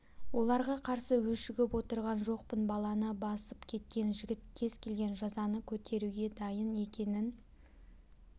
оларға қарсы өшігіп отырған жоқпын баланы басып кеткен жігіт кез келген жазаны көтеруге дайын екенін